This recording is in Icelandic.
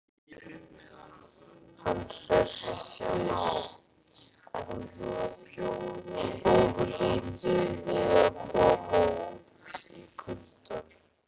Hann hresstist ofurlítið við að koma út í kuldann.